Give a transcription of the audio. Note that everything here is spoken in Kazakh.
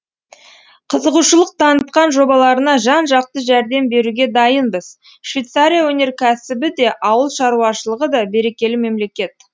қызығушылық танытқан жобаларына жан жақты жәрдем беруге дайынбызшвейцария өнеркәсібі де ауыл шаруашылығы да берекелі мемлекет